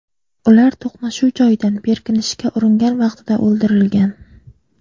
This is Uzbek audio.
Ular to‘qnashuv joyidan berkinishga uringan vaqtida o‘ldirilgan.